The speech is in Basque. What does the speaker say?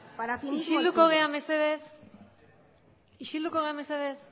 isilduko gara mesedez isilduko gara mesedez